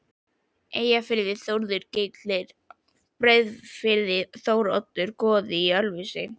Eyjafirði, Þórður gellir í Breiðafirði, Þóroddur goði í Ölfusi.